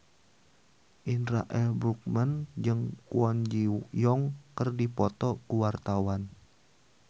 Indra L. Bruggman jeung Kwon Ji Yong keur dipoto ku wartawan